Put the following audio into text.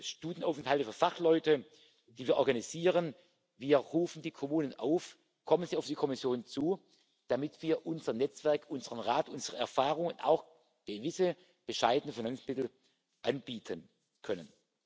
Studienaufenthalte für Fachleute, die wir organisieren Wir rufen die Kommunen auf, auf die Kommission zuzukommen, damit wir unser Netzwerk, unseren Rat, unsere Erfahrungen und auch gewisse bescheidene Finanzmittel anbieten können.